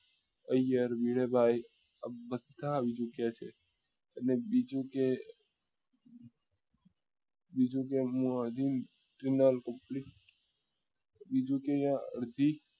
ઐયર ભીડે ભાઈ આ બધા આવી ચુક્યા છે અને બીજું કે બીજું કે હું હજુ બીજું કે અહિયાં અડધી